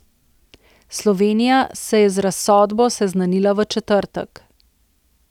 Slovenija se je z razsodbo seznanila v četrtek.